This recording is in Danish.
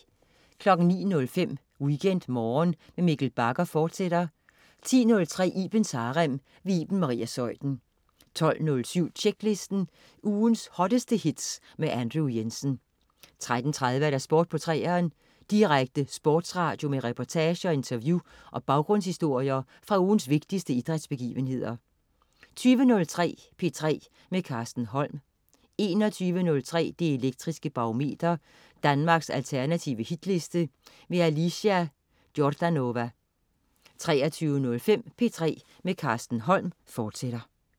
09.05 WeekendMorgen med Mikkel Bagger, fortsat 10.03 Ibens Harem. Iben Maria Zeuthen 12.07 Tjeklisten. Ugens hotteste hits med Andrew Jensen 13.30 Sport på 3'eren. Direkte sportsradio med reportager, interview og baggrundshistorier fra ugens vigtigste idrætsbegivenheder 20.03 P3 med Carsten Holm 21.03 Det Elektriske Barometer. Danmarks alternative hitliste. Alicia Jordanova 23.05 P3 med Carsten Holm, fortsat